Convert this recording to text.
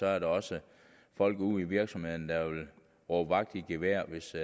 er der også folk ude i virksomhederne der vil råbe vagt i gevær hvis